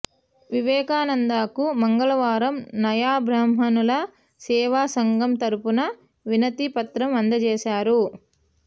వివేకానంద్కు మంగళవారం నాయీ బ్రాహ్మణుల సేవా సంఘం తరుఫున వినతి పత్రం అందజేశారు